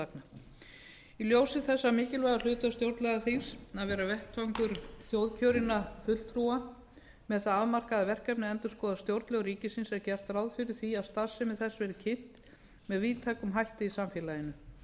tillagna í ljósi þess mikilvæga hlutverks stjórnlagaþings að vera vettvangur þjóðkjörinna fulltrúa með það afmarkaða verkefni að endurskoða stjórnlög ríkisins er gert ráð fyrir því að starfsemi þess verði kynnt með víðtækum hætti í samfélaginu stjórnlagaþing